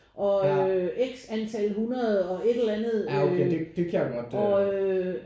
Oh øh og X antal 100 og et eller andet øh og øh